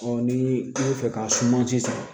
ni i bɛ fɛ k'a sumasi